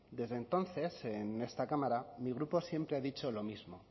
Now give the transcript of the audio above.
desde entonces en esta cámara mi grupo siempre ha dicho lo mismo